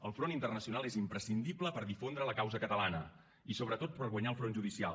el front internacional és imprescindible per difondre la causa catalana i sobretot per guanyar el front judicial